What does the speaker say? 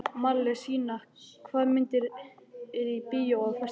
Marselína, hvaða myndir eru í bíó á föstudaginn?